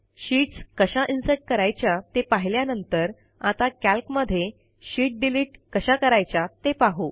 sheets कशा insert करायाच्या ते पाहिल्यानंतर आता कॅल्कमध्ये शीत डिलीट कशा करायच्या ते पाहू